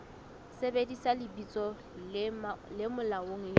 sebedisa lebitso le molaong le